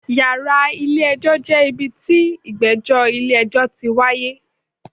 Yàrá ilé ẹjọ́ jẹ́ ibi tí ìgbẹ́jọ́ ilé ẹjọ́ ti wáyé.